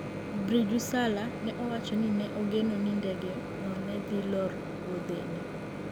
Birju Salla ne owacho ni ne ogeno ni ndege no ne dhi loro wuodhe ne